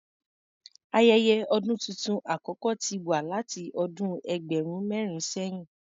Ayẹyẹ ọdún tuntun àkọ́kọ́ ti wà láti ọdún ẹgbẹ̀rún mẹ́rin sẹ̀yìn.